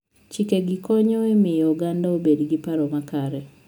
Chikegi konyo e miyo oganda obed gi paro makare.